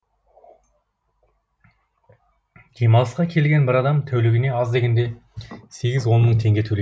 демалысқа келген бір адам тәулігіне аз дегенде сегіз он мың теңге төлейді